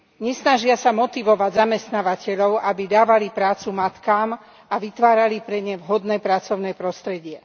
Nesnažia sa motivovať zamestnávateľov, aby dávali prácu matkám a vytvárali pre ne vhodné pracovné prostredie.